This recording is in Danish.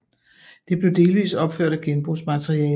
Det blev delvist opført af genbrugsmateriale